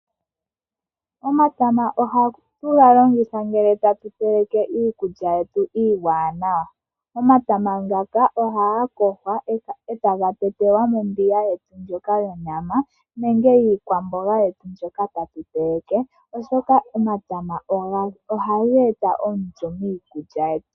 Omatama oha tugalongitha ngele tatuteleke iikulya yetu iiwanawa. Omatama ohagayogwa eta gatetelwa mombiga yonyama nenge yiikwamboga yetu mbyoka tatuteleke oshoka omatama ohageeta omulyo miikulya.